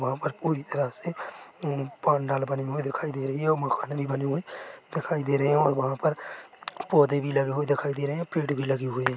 वहाँ पर पूरी तरह से पांडाल बनी हुई दिखाई दे रही है और मकान भी बने हुए दिखाई दे रहे है और वहाँ पर पौधे भी लगे हुए दिखाई दे रहे है और पेड़ भी लगे हुए है।